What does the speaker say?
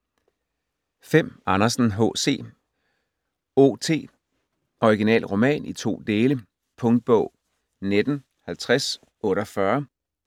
Andersen, H. C.: O.T.: Original Roman i to Dele Punktbog 195048